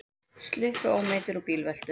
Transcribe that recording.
Sluppu ómeiddir úr bílveltu